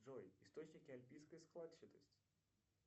джой источники альпийской складчатости